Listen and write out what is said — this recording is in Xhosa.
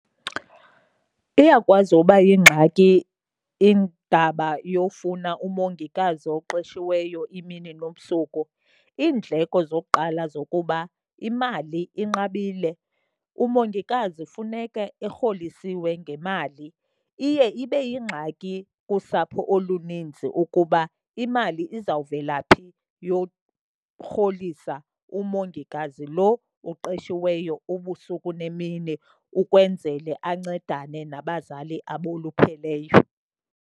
Iyakwazi uba yingxaki indaba yofuna umongikazi oqeshiweyo imini nobusuku. Iindleko zokuqala zokuba imali inqabile, umongikazi funeke erholisiweyo ngemali. Iye ibe yingxaki kusapho oluninzi ukuba imali izawuvela phi yorholisa umongikazi lo uqeshiweyo ubusuku nemini ukwenzele ancedane nabazali abolupheleyo.